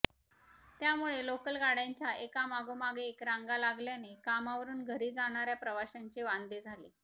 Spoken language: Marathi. त्यामुळे लोकल गाडय़ांच्या एकामागोमाग एक रांगा लागल्याने कामावरून घरी जाणाऱ्या प्रवाशांचे वांदे झाले